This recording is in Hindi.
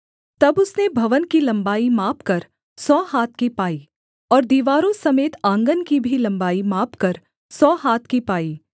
तब उसने भवन की लम्बाई मापकर सौ हाथ की पाई और दीवारों समेत आँगन की भी लम्बाई मापकर सौ हाथ की पाई